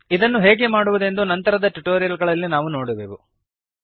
ಇದನ್ನು ಹೇಗೆ ಮಾಡುವುದೆಂದು ನಂತರದ ಟ್ಯುಟೋರಿಯಲ್ ಗಳಲ್ಲಿ ನಾವು ನೋಡುವೆವು